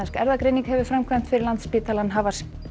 erfðagreining hefur framkvæmt fyrir Landspítalann hafa